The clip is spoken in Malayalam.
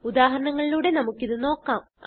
ഉദാഹരണങ്ങളിലൂടെ നമുക്ക് ഇത് നോക്കാം